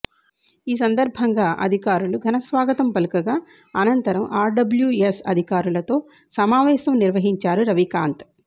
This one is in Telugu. ఈ సందర్భంగా అధికారులు ఘనస్వాగతం పలకగా అనంతరం ఆర్డ్యబ్లూఎస్ అధికారులతో సమావేశం నిర్వహించారు రవికాంత్